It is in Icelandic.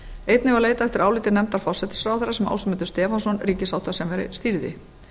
einnig var leitað eftir áliti nefndar forsætisráðherra sem ásmundur stefánsson ríkissáttasemjari stýrði